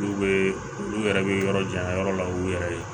N'u bɛ olu yɛrɛ bɛ yɔrɔ jan yɔrɔ la u yɛrɛ ye